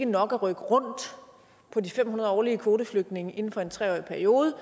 nok at rykke rundt på de fem hundrede årlige kvoteflygtninge inden for en tre årig periode